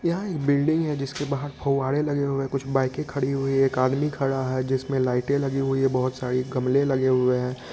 यह एक बिल्डिंग है जिसके बाहर फुवारे लगे हुऐ है कुछ बाइके खड़ी हुई है एक आदमी खड़ा है जिसमे लाइट लगी हुई है बहोत सारे गमले लगे हुऐ ह।